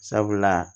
Sabula